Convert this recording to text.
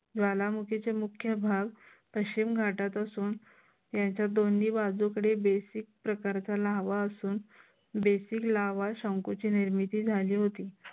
ज्वालामुखीचे मुख्य भाग पश्चिम घाटात असून याच्या दोन्ही बाजूकडे basic प्रकारचा लाव्हा असून basic लाव्हा शंखूची निर्मिती झाली होती.